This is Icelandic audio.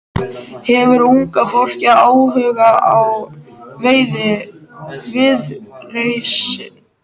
Hefur unga fólkið áhuga á Viðreisn?